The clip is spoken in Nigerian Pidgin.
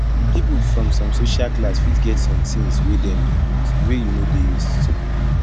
people from some social class fit get some things wey dem dey want wey you no dey used too